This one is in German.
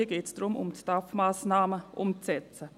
hier geht es darum, die STAF-Massnahmen umzusetzen.